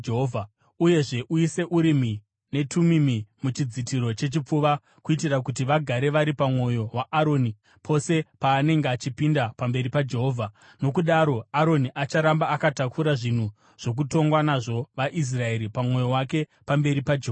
Uyezve uise Urimi neTumimi muchidzitiro chechipfuva, kuitira kuti vagare vari pamwoyo waAroni pose paanenge achipinda pamberi paJehovha. Nokudaro Aroni acharamba akatakura zvinhu zvokutonga nazvo vaIsraeri pamwoyo wake pamberi paJehovha.